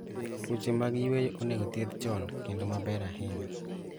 Tuoche mag yueyo onego thiedhi chon kendo maber ahinya